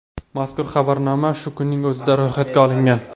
Mazkur xabarnoma shu kunning o‘zida ro‘yxatga olingan.